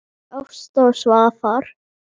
Ásta og Svafar.